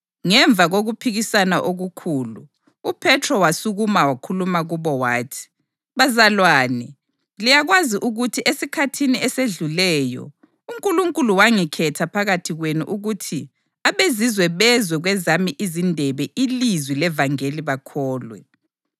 Ngemva kokuphikisana okukhulu uPhethro wasukuma wakhuluma kubo wathi: “Bazalwane, liyakwazi ukuthi esikhathini esedluleyo uNkulunkulu wangikhetha phakathi kwenu ukuthi abeZizwe bezwe kwezami izindebe ilizwi levangeli bakholwe.